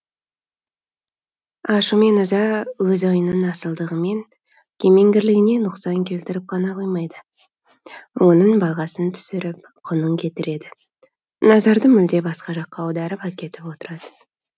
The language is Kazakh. ашу мен ыза өз ойыңның асылдығы мен кемеңгерлігіне нұқсан келтіріп қана қоймайды оның бағасын түсіріп құнын кетіреді назарды мүлде басқа жаққа аударып әкетіп отырады